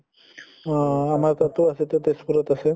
অহ আমাৰ তাতো আছে এতিয়া তেজ্পুৰত আছে